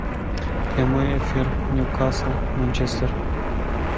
прямой эфир ньюкасл манчестер